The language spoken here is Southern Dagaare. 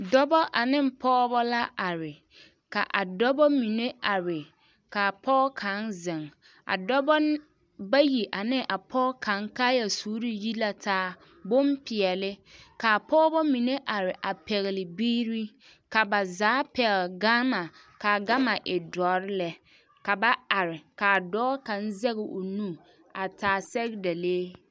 Dɔba ane pɔgeba la are ka a dɔba mine are ka pɔge kaŋ zeŋ a dɔba bayi ane a pɔge kaŋ kaayasuure yi la taa bonpeɛlle ka a pɔgeba mine are a pɛgle biiri ka ba zaa pɛgle gama ka a gama e dɔre lɛ ka ba are ka a dɔɔ kaŋ zɛge o nu a taa sɛgedalee.